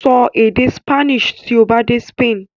Sọ èdè Spanish tí ó bá dé Spain!